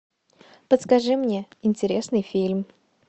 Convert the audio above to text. подскажи мне интересный фильм